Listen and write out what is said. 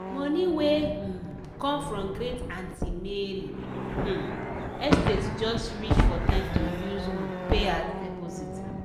money wey um come from great aunty mary um estate just reach for time to use um pay as deposit.